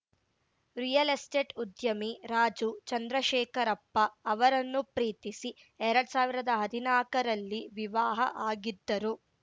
real estate ಉದ್ಯಮಿ ರಾಜು ಚಂದ್ರಶೇಖರಪ್ಪ ಅವರನ್ನು ಪ್ರೀತಿಸಿ ಎರಡ್ ಸಾವಿರ್ದಾ ಹದಿನಾಕರಲ್ಲಿ ವಿವಾಹ ಆಗಿದ್ದರು